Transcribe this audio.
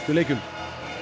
leikjum